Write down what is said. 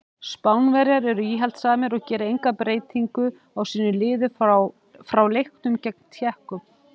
Spánverjar eru íhaldssamir og gera enga breytingu á sínu liði frá leiknum gegn Tékkum.